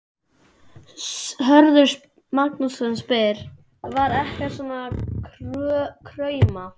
Hörður Magnússon spyr: Var ekkert svona að krauma?